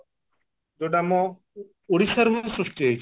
ଯଉଟା ଆମ ଓଡିଶାରୁ ହିଁ ସୃଷ୍ଟି ହେଇଛି